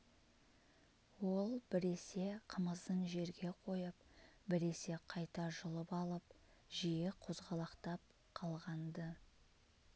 ол біресе қымызын жерге қойып біресе қайта жұлып алып жиі қозғалақтап қалған-ды